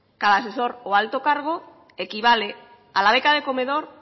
cada asesor o alto cargo equivale a la beca de comedor